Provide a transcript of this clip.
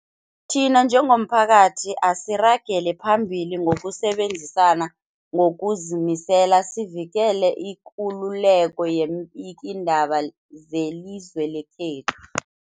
Thina njengomphakathi, asiragele phambili ngokusebenzisana ngokuzimisela sivikele ikululeko yeembikiindaba zelizwe lekhethu.